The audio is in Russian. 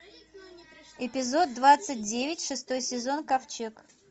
эпизод двадцать девять шестой сезон ковчег